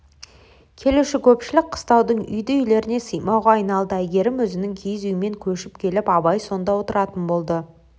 келуші көпшілік қыстаудың үйді-үйлеріне сыймауға айналды әйгерім өзінің киіз үйімен көшіп келіп абай сонда отыратын болды